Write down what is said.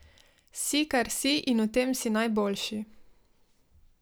Si, kar si in v tem si najboljši ...